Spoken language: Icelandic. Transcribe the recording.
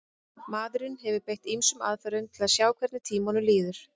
maðurinn hefur beitt ýmsum aðferðum til að sjá hvernig tímanum líður